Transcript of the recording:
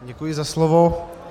Děkuji za slovo.